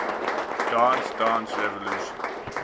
dance dance revolution